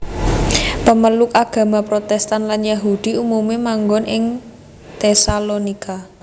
Pemeluk agama Protestan lan Yahudi umumé manggon ing Tesalonika